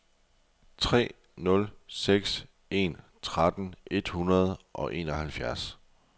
tre nul seks en tretten et hundrede og enoghalvfjerds